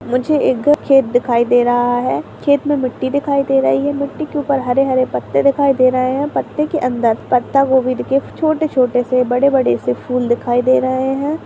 मुझे एक खेत दिखाई दे रहा है खेत मे मिट्टी दिखाई दे रही है मिट्टी के ऊपर हरे हरे पत्ते दिखाई दे रहे हैं पत्ते के अंदर पत्ता गोबी दिख के छोटे छोटे से बड़े बड़े से फूल दिखाई दे रहे हैं।